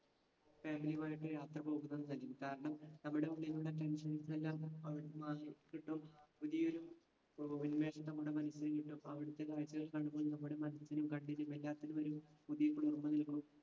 Family യും ആയിട്ട് യാത്ര പോകുന്നത് കാരണം നമ്മടെ ഉള്ളിലുള്ള tensions എല്ലാം മാറിക്കിട്ടും. പുതിയൊരു ഉന്മേഷം നമ്മടെ മനസ്സിനും കിട്ടും. അവിടുത്തെ കാഴ്ചകൾ കാണുമ്പോൾ നമ്മടെ മനസ്സിനും കണ്ണിനും എല്ലാത്തിനും ഒരു പുതിയ കുളിർമ്മ നൽകു